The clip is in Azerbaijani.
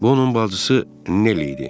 Bu onun bacısı Nell idi.